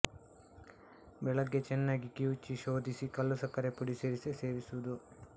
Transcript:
ಬೆಳಗ್ಗೆ ಚೆನ್ನಾಗಿ ಕಿವುಚಿ ಶೋಧಿಸಿ ಕಲ್ಲು ಸಕ್ಕರೆ ಪುಡಿ ಸೇರಿಸಿ ಸೇವಿಸುವುದು